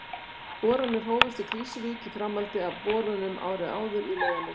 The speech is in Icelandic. Boranir hófust í Krýsuvík í framhaldi af borunum árið áður í Laugarnesi.